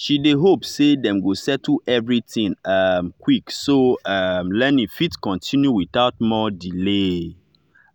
she dey hope say dem go settle everything um quick so um learning fit continue without more delay.